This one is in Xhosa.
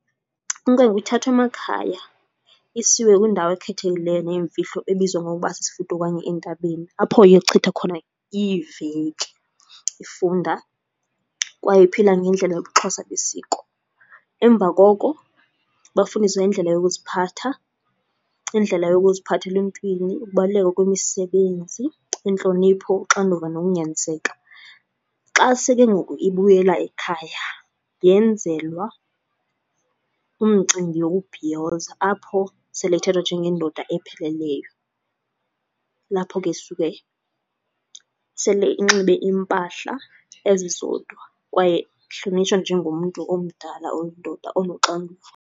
Inkwenkwe ithathwa emakhaya isiwe kwindawo ekhethekileyo neemfihlo ebizwa ngokuba sisifudo okanye entabeni apho iyochitha khona iiveki ifunda kwaye iphila ngendlela yobuXhosa besiko. Emva koko bafundiswe indlela yokuziphatha, indlela yokuziphatha eluntwini, ukubaluleka kwemisebenzi, intlonipho, uxanduva nokunyaniseka. Xa seke ngoku ibuyela ekhaya yenzelwa umcimbi yokubhiyoza apho sele ethathwa njengendoda epheleleyo. Lapho ke suke sele enxibe impahla ezizodwa kwaye ehlonitshwa njengomntu omdala oyindoda onoxanduva.